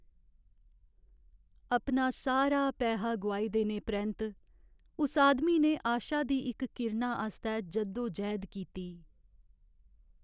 अपना सारा पैहा गोआई देने परैंत्त उस आदमी ने आशा दी इक किरणा आस्तै जद्दो जैह्द कीती।